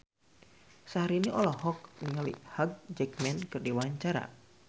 Syahrini olohok ningali Hugh Jackman keur diwawancara